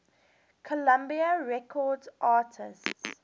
columbia records artists